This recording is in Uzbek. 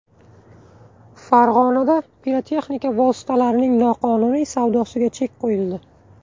Farg‘onada pirotexnika vositalarining noqonuniy savdosiga chek qo‘yildi.